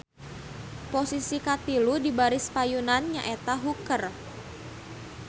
Posisi katilu di baris payun nya eta hooker.